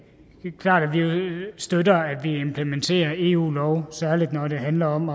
støtter at vi implementerer eu lov særlig når det handler om